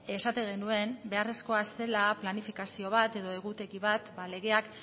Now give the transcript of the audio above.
esaten genuen beharrezkoa zela planifikazio bat edo egutegi bat legeak